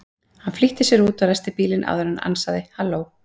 Hann flýtti sér út og ræsti bílinn áður en hann ansaði: Halló?